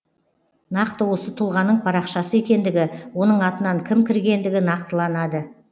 нақты осы тұлғаның парақшасы екендігі оның атынан кім кіргендігі нақтыланады